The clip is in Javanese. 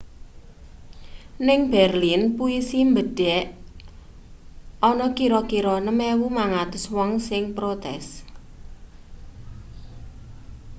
ning berlin pulisi mbedek ana kira-kira 6.500 wong sing protes